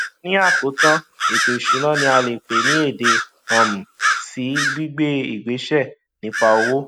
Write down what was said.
ni àkótán ètò ìsúná ni a lè pè ní èdè um sí gbígbé ìgbésẹ nípa owó